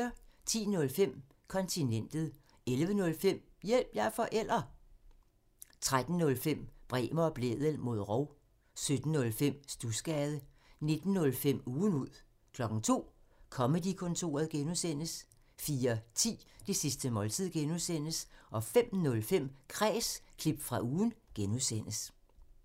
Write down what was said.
10:05: Kontinentet 11:05: Hjælp – jeg er forælder! 13:05: Bremer og Blædel mod rov 17:05: Studsgade 19:05: Ugen ud 02:00: Comedy-kontoret (G) 04:10: Det sidste måltid (G) 05:05: Kræs – klip fra ugen (G)